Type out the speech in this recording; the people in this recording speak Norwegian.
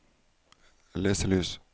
leselys